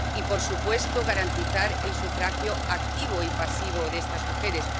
y, por supuesto, garantizar el sufragio activo y pasivo de estas mujeres.